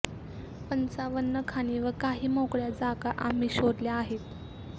पंचावन्न खाणी व काही मोकळ्या जागा आम्ही शोधल्या आहेत